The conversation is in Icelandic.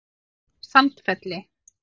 Sandfelli